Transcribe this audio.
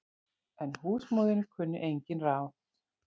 En húsmóðirin kunni engin ráð.